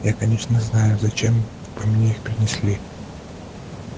я конечно знаю зачем вы мне их принесли